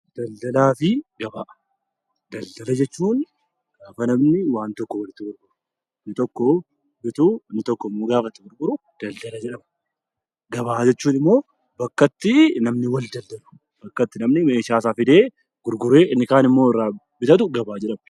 Daldalaa fi gabaa Daldala jechuun gaafa namni waan tokko walitti gurguru inni tokko yeroo bitu, inni tokko yeroo gurguru daldala jedhama. Gabaa jechuun immoo bakka itti namni walitti daldalu, bakka itti namni meeshaa isaa fidee bitatu gabaa jedhama.